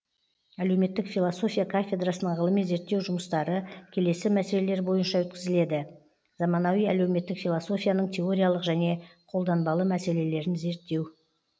әлеуметтік философия кафедрасының ғылыми зерттеу жұмыстары келесі мәселелер бойынша өткізіледі заманауи әлеуметтік философияның теориялық және қолданбалы мәселелерін зерттеу